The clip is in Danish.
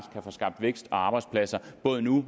kan få skabt vækst og arbejdspladser både nu